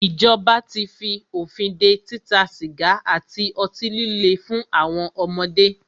Ìjọba tí fí òfin dé títa sìgá àti ọtí líle fún àwọn ọmọdé.